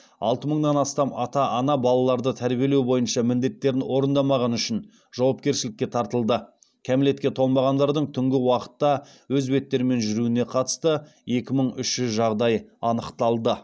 алты мыңнан астам ата ана балаларды тәрбиелеу бойынша міндеттерін орындамағаны үшін жауапкершілікке тартылды кәмелетке толмағандардың түнгі уақытта өз беттерімен жүруіне қатысты екі мың үш жүз жағдай анықталды